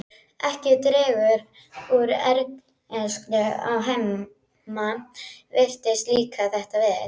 Ekki dregur úr ergelsinu að Hemma virðist líka þetta vel.